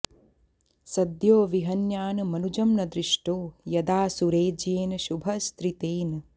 सद्यो विहन्यान् मनुजं न दृष्टो यदा सुरेज्येन शुभस्त्रीतेन